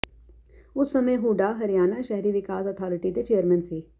ਉਸ ਸਮੇਂ ਹੁੱਡਾ ਹਰਿਆਣਾ ਸ਼ਹਿਰੀ ਵਿਕਾਸ ਅਥਾਰਟੀ ਦੇ ਚੇਅਰਮੈਨ ਸੀ